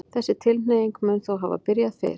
þessi tilhneiging mun þó hafa byrjað fyrr